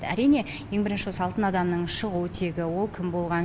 әрине ең бірінші осы алтын адамның шығу тегі ол кім болған